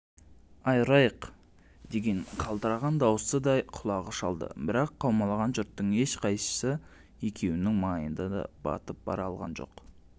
айырайық деген қалтыраған дауысты да құлағы шалдыбірақ қаумалаған жұрттың ешқайсысы екеуінің маңайына батып бара алған жоқ